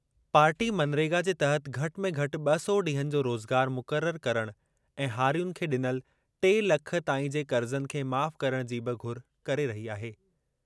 Party MNREGA जे तहत घटि में घटि ॿ सौ ॾींहनि जो रोज़गार मुक़रर करणु ऐं हारियुनि खे ॾिनल टे लख ताईं जे क़र्ज़नि खे माफ़ करणु जी बि घुर करे रही आहे।